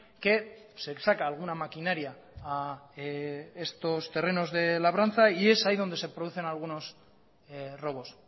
que se saca alguna maquinaria a estos terrenos de labranza y es ahí donde se producen algunos robos